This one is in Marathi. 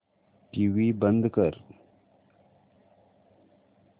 टीव्ही बंद कर